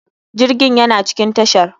Jirgin yana cikin tashar.